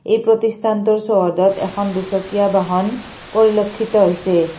এই প্ৰতিষ্ঠানটোৰ চৌহদত এখন দুচকীয়া বাহন পৰিলক্ষিত হৈছে।